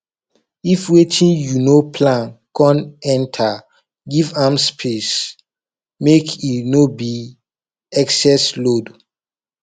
if wetin yu no plan con enter giv am space mek e no be excess load